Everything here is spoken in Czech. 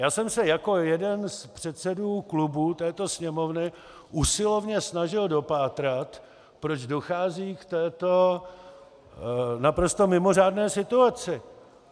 Já jsem se jako jeden z předsedů klubů této Sněmovny usilovně snažil dopátrat, proč dochází k této naprosto mimořádné situaci.